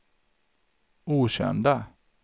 okända